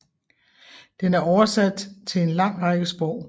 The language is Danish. Den er oversat til en lang række sprog